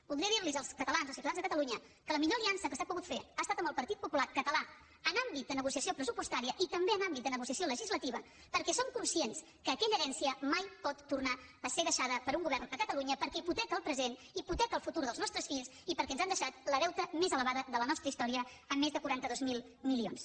voldria dir los als catalans als ciutadans de catalunya que la millor aliança que s’ha pogut fer ha estat amb el partit popular català en àmbit de negociació pressupostària i també en àmbit de negociació legislativa perquè som conscients que aquella herència mai pot tornar a ser deixada per un govern a catalunya perquè hipoteca el present hipoteca el futur dels nostres fills i perquè ens han deixat el deute més elevat de la nostra història amb més de quaranta dos mil milions